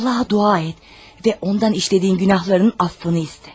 Allaha dua et və ondan etdiyin günahlarının bağışlanmasını istə.